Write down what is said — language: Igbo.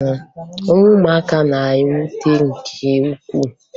Ọnwụ ụmụaka na-ewute nke ukwuu